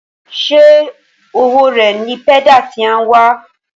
Ṣé owó rẹ ní pédà tí a n wà wà